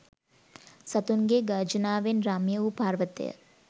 සතුන්ගේ් ගර්ජනාවෙන් රම්‍ය වූ පර්වතය